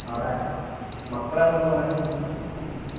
അവിടെ മക്കളെന്തോ പറയുന്ന്?